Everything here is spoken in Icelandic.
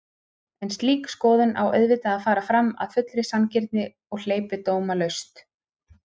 En slík skoðun á auðvitað að fara fram af fullri sanngirni og hleypidómalaust.